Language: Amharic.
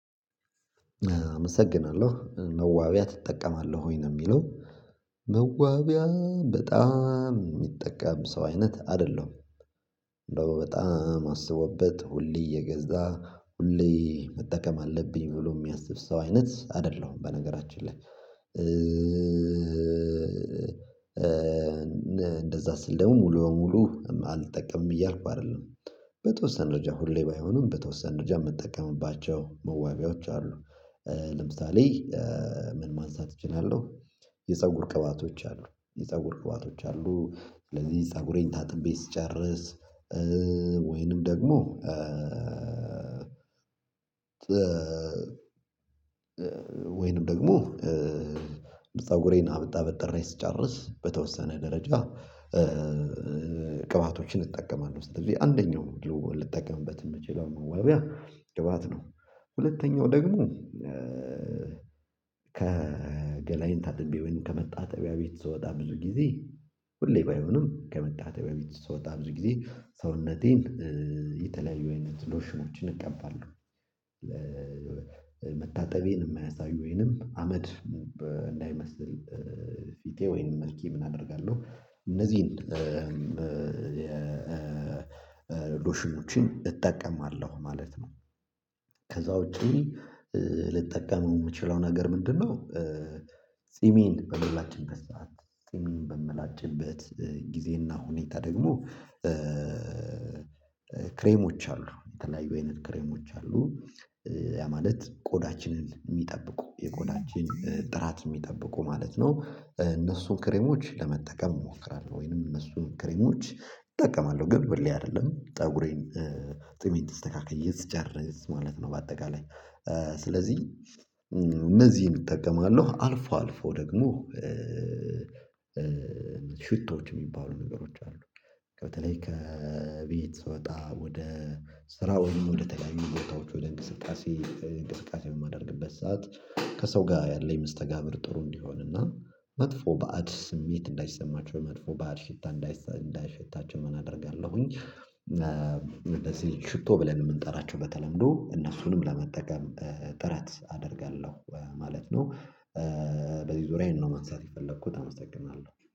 አመሰግናለሁ መዋቢያ ትጠቀማለህ ወይ ነው? እሚለው መዋቢያ በጣም እሚጠቀም ሰው አይነት አይደለም። እንደው በጣም አስቦበት ሁሌ እየገዛ ሁሌ መጠቀም አለብኝ ብሎ እሚያስብ ሰው አይነት አይደለሁም። በነገራችን ላይ እንደዛ ስል ደግሞ ሙሉ በሙሉ አልጠቀምም እያልኩ አይደለም በተወሰነ ደረጃ ሁሌ ባይሆንም በተወሰነ ደረጃ እምጠቀምባቸው መዋቢያዎች አሉ። ለምሳሌ ምን ማንሳት እችላለሁ። የፀጉር ቅባቶች አሉ የፀጉር ቅባቶች አሉ ስለዚህ ፀጉሬን ታጥቤ ስጨርስ ወይንም ደግሞ ወይንም ደግሞ ፀጉሬን አበጥሬ ስጨርስ በተወሰነ ደረጃ ቅባቶችን እጠቀማለሁ። ስለዚህ አንደኛው ልጠቀምበት እምችለው መዋቢያ ቅባት ነው። ሁለተኛው ደግሞ ገላዬን ታጥቤ ወይም ከመታጠቢያ ቤት ስወጣ ብዙ ጊዜ ሁሌ ባይሆንም ከመታጠቢያ ቤት ስወጣ ብዙ ጊዜ ሰውነቴን የተለያዩ አይነት ሎሽኖችን እቀባለሁ። መታጠቤን እማያሳይ ወይንም አመድ እንዳይመስል ፊቴ ወይንም መልኬ ምን አደርጋለሁ እነዚህን የ ሎሽኖችን እጠቀማለሁ ማለት ነው። ከዛ ውጪ ልጠቀም እምችለው ነገር ምንድነው? ጺሜን በምላጭበት ሰዓት ጺሜን በምላጭበት ጊዜና ሁኔታ ደግሞ ክሬሞች አሉ የተለያዩ አይነት ክሬሞች አሉ ያ ማለት ቆዳችንን እሚጠብቁ የቆዳችን ጥራት እሚጠብቁ ማለት ነው እነሱን ክሬሞች ለመጠቀም እሞክራለሁ። ወይንም እነሱን ክሬሞች እጠቀማለሁ ግን ሁሌ አይደለም ፀጉሬን ጺሜን ተስተካክዬ ስጨርስ ማለት ነው። በአጠቃላይ ስለዚህ እነዚህን እጠቀማለሁ አልፎ አልፎ ደግሞ ሽቶዎች እሚባሉ ነገሮች አሉ። በተለይ ከቤት ስወጣ ወደ ስራ ወይም ወደተለያዩ ቦታዎች ወደ እንቅስቃሴ እንቅስቃሴ በማደርግበት ሰዓት ከሰው ጋር ያለኝ መስተጋብር ጥሩ እንዲሆንና መጥፎ በአድ ስሜት እንዳይሰማቸው መጥፎ በአድ ሽታ እንዳይሸታቸው አደርጋለሁኝ። እንደዚህ ሽቶ ብለን እምንጠራቸው በተለምዶ እነሱንም ለመጠቀም ጥረት አደርጋለሁ ማለት ነው። በዚህ ዙሪያ ይሄን ነው ማንሳት የፈለኩት። አመስግናለሁ